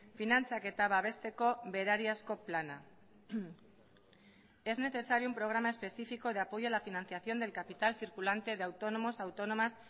finantzaketa babesteko berariazko plana es necesario un programa específico de apoyo a la financiación del capital circulante de autónomos autónomas